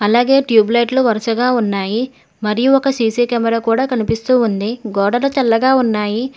అలాగే ట్యూబ్ లైట్లు వరుసగా ఉన్నాయి మరియు ఒక సీ_సీ కెమెరా కూడా కనిపిస్తూ ఉంది గోడల తెల్లగా ఉన్నాయి.